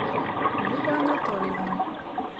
люба анатольевна